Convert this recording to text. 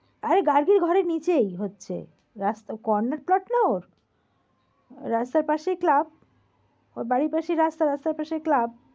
আরে গার্গির ঘরের নিচেই হচ্ছে। রাস্ত~ corner plot না ওর। রাস্তার পাশেই club । ওর বাড়ির পাশেই রাস্তা, রাস্তার পাশেই club ।